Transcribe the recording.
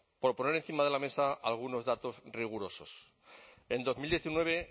por poner encima de la mesa algunos datos rigurosos en dos mil diecinueve